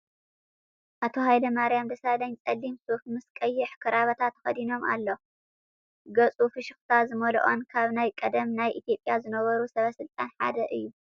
ኣቶ ሃይለማርያም ደሳለኝ ጸሊም ሱፍ ምስ ቀይሕ ክራቫታ ተኸዲኑ ኣሎ። ገጹ ፍሽኽታ ዝመልኦን ካብ ናይ ቀደም ናይ ኢ/ያ ዝነበሩ ሰበ ስልጣናት ሓደ እዩ።